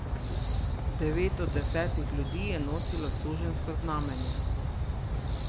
Devet od desetih ljudi je nosilo suženjsko znamenje.